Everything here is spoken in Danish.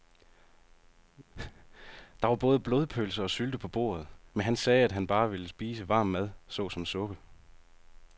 Der var både blodpølse og sylte på bordet, men han sagde, at han bare ville spise varm mad såsom suppe.